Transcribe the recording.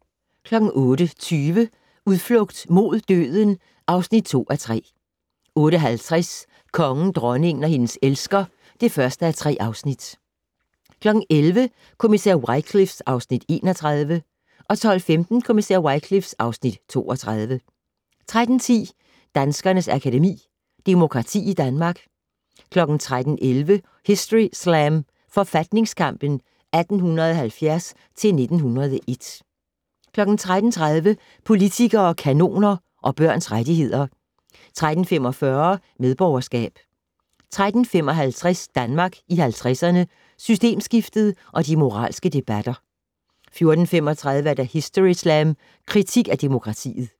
08:20: Udflugt mod døden (2:3) 08:50: Kongen, dronningen og hendes elsker (1:3) 11:00: Kommissær Wycliffe (Afs. 31) 12:15: Kommissær Wycliffe (Afs. 32) 13:10: Danskernes Akademi: Demokrati i Danmark 13:11: Historyslam: Forfatningskampen 1870-1901 13:30: Politikere, kanoner og børns rettigheder 13:45: Medborgerskab 13:55: Danmark i 50'erne - Systemskiftet og de moralske debatter 14:35: Historyslam: Kritik af demokratiet